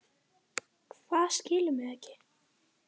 Hvað, skilurðu mig ekki?